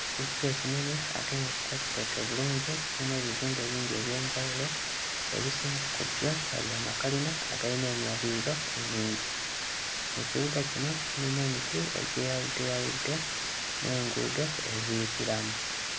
Ekibuga ekinene ate nga kiteeketeeke bulungi, kirimu ebizimbe bingi eby'enjawulo, ebisinga ku byo nga bya makalina agalina emyaliriro emingi. Mu kibuga kino mulimu emiti egyeyawuddeyawudde n'enguudo eziyitiramu.